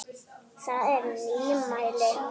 Það er nýmæli.